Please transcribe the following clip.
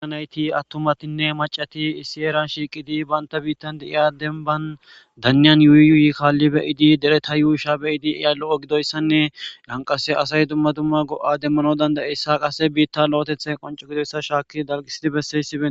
Ha nayti attumatinne macati issi heeran shiiqidi banta biittan de7iya denban danniyan yuuyyuy kaalli be7idi dereta yuusha be7idi de7iya lo7o gidoyssanne yan qase asay dumma dumma go7a demmanaw danda7iyssa qase biitta lo7etethay qonco gidoyssa shaakki dalqisidi besseysi benttees.